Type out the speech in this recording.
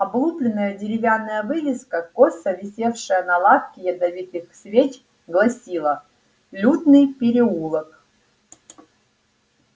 облупленная деревянная вывеска косо висевшая на лавке ядовитых свеч гласила лютный переулок